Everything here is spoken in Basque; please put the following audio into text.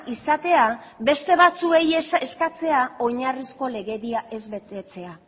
izatea beste batzuei eskatzea oinarrizko legedia ez betetzea